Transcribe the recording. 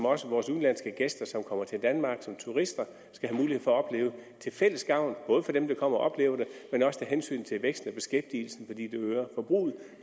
også vores udenlandske gæster som kommer til danmark som turister skal have mulighed for at opleve til fælles gavn for dem der kommer og oplever det og af hensyn til vækst og beskæftigelse fordi det øger forbruget